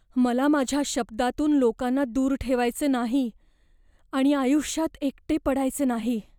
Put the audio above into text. मला माझ्या शब्दांतून लोकांना दूर ठेवायचे नाही आणि आयुष्यात एकटे पडायचे नाही.